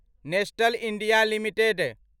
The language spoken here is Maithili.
Nestlé India limited